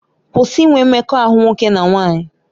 Kwụsị inwe mmekọahụ nwoke na nwaanyị!